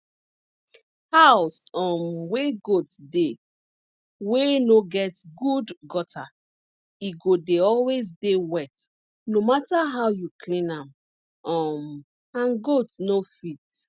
house um wey goat dey wey no get good gutter e go dey always dey wet no matter how you clean am um and goat no fit